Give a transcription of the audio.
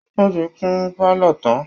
Wọ́n ti kun pálọ̀ tán